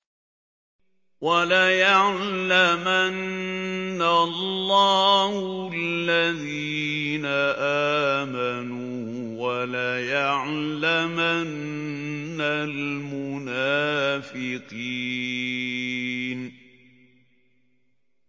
وَلَيَعْلَمَنَّ اللَّهُ الَّذِينَ آمَنُوا وَلَيَعْلَمَنَّ الْمُنَافِقِينَ